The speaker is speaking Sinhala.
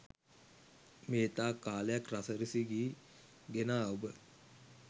මේතාක් කාලයක් රස රිසි ගී ගෙනා ඔබ